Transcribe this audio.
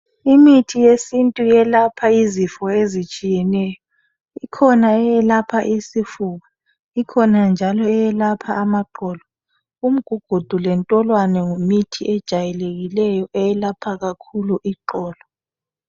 Imithi yesintu eyelapha izifo etshiyeneyo ikhona eyelapha isifuba ikhona njalo eyelapha amaqolo umgugudu lentolwane yimithi ejwayelekileyo eyelapha kakhulu iqolo.